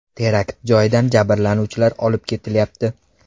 Terakt joyidan jabrlanuvchilar olib ketilyapti.